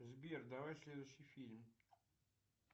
сбер давай следующий фильм